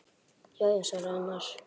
Já já, svaraði annar.